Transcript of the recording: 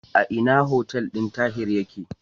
A ina hotel din Tahir yake?